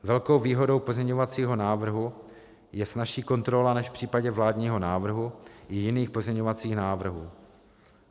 Velkou výhodou pozměňovacího návrhu je snazší kontrola než v případě vládního návrhu i jiných pozměňovacích návrhů.